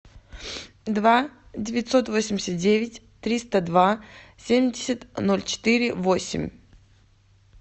два девятьсот восемьдесят девять триста два семьдесят ноль четыре восемь